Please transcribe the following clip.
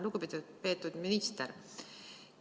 Lugupeetud minister!